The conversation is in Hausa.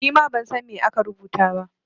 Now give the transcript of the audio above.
Ni ma ban san me aka rubuta ba.